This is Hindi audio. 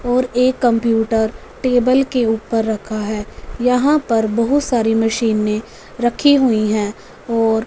और एक कंप्यूटर टेबल के ऊपर रखा है यहां पर बहुत सारी मशीनें रखी हुई हैं और--